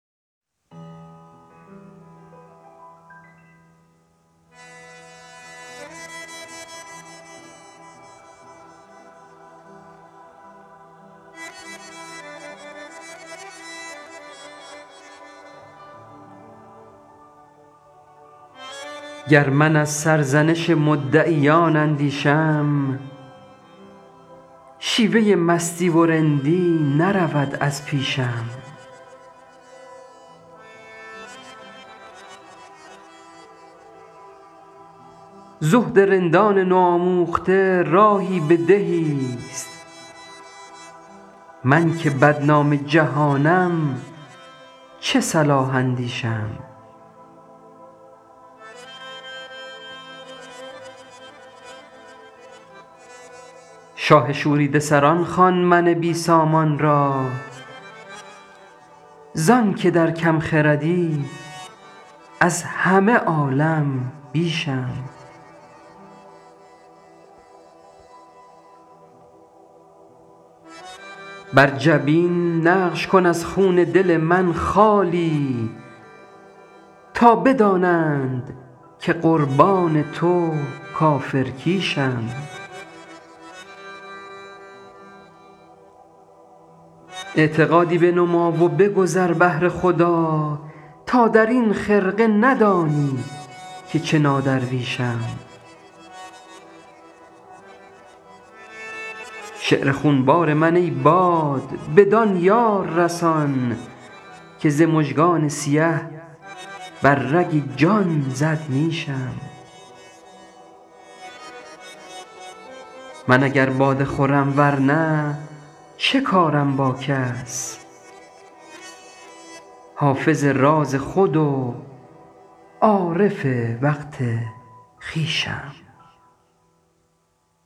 گر من از سرزنش مدعیان اندیشم شیوه مستی و رندی نرود از پیشم زهد رندان نوآموخته راهی به دهیست من که بدنام جهانم چه صلاح اندیشم شاه شوریده سران خوان من بی سامان را زان که در کم خردی از همه عالم بیشم بر جبین نقش کن از خون دل من خالی تا بدانند که قربان تو کافرکیشم اعتقادی بنما و بگذر بهر خدا تا در این خرقه ندانی که چه نادرویشم شعر خونبار من ای باد بدان یار رسان که ز مژگان سیه بر رگ جان زد نیشم من اگر باده خورم ور نه چه کارم با کس حافظ راز خود و عارف وقت خویشم